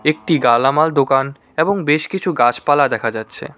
একটি গালামাল দোকান এবং বেশ কিছু গাছপালা দেখা যাচ্ছে।